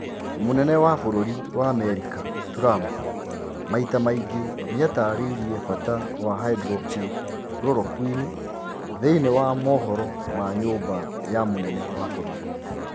Mũnene wa bũrũri wa Amerika Trump maita maingĩ nieretheire bata wa hydroxy chloroquine thiinie wa mohoro ma nyumba ya mũnene wa bũrũri.